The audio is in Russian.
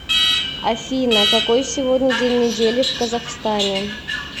афина какой сегодня день недели в казахстане